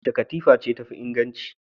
Wace katifa ce tafi inganci?